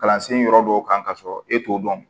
Kalansen yɔrɔ dɔw kan ka sɔrɔ e t'o dɔn